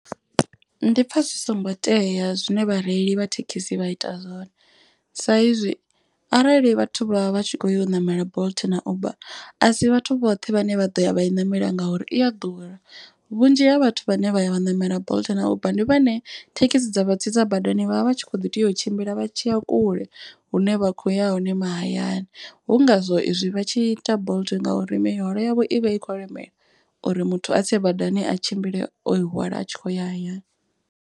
Ndi pfha zwi songo tea zwine vhareili vha thekhisi vha ita zwone. Sa izwi arali vhathu vha vha vha tshi kho ya u ṋamela bolt na uber a si vhathu vhoṱhe vhane vha ḓo ya vha i ṋamela ngauri i a ḓura. Vhunzhi ha vhathu vhane vha ya vha ṋamela bolt na uber ndi vhone thekhisi dza vha tsitsa badani vha vha vha tshi kho ḓi tea u tshimbila vha tshiya kule hune vha khoya hone mahayani. Hu ngazwo izwi vha tshi ita bolt ngauri mihwalo yavho i vha i khou lemela uri muthu a tse badani a tshimbile o hwala a tshi khou ya hayani.